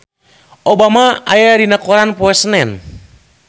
Obama aya dina koran poe Senen